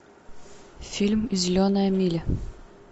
фильм зеленая миля